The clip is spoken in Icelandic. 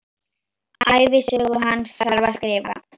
Ævisögu hans þarf að skrifa.